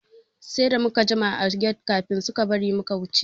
Sai da muka jima a get kafin suka bari muka shiga fak ɗin.